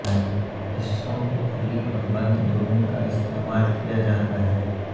حصوں کو کھلی اور بند دونوں کا استعمال کیا جاتا ہے